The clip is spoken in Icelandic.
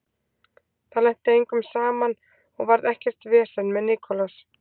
Það lenti engum saman og varð ekkert vesen með Nicolas.